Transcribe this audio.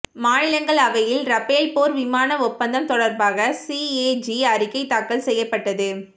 மாநிலங்களவையில் ரபேல் போர் விமான ஒப்பந்தம் தொடர்பாக சிஏஜி அறிக்கை தாக்கல் செய்யப்பட்டது